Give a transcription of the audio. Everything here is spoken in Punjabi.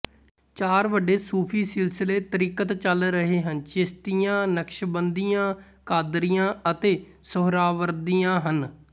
ਚਾਰ ਵੱਡੇ ਸੂਫ਼ੀ ਸਿਲਸਿਲੇ ਤਰੀਕਤ ਚੱਲ ਰਹੇ ਹਨ ਚਿਸ਼ਤੀਆ ਨਕਸ਼ਬੰਦੀਆ ਕਾਦਰੀਆ ਅਤੇ ਸੁਹਰਾਵਰਦੀਆ ਹਨ